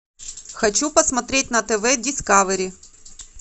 хочу посмотреть на тв дискавери